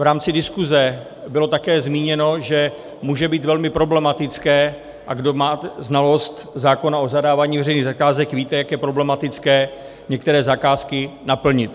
V rámci diskuze bylo také zmíněno, že může být velmi problematické - a kdo má znalost zákona o zadávání veřejných zakázek, víte, jak je problematické některé zakázky naplnit.